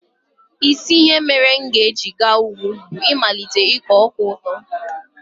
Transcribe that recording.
Isi ihe mere m ga-eji gaa ugwu bụ ịmalite ịkọ ọka dị ụtọ.